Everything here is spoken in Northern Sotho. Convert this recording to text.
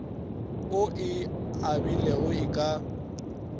o e abilego e ka